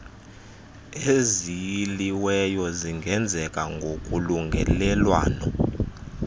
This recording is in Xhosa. eziyiliweyo zingenzeka ngokolungelelwano